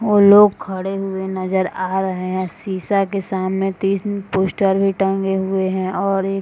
लोग खड़े हुए नजर आ रहे हैं शीशा के सामने तीन पोस्टर भी टंगे हुए हैं और एक --